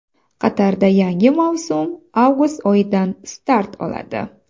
Qatarda yangi mavsum avgust oyidan start oladi.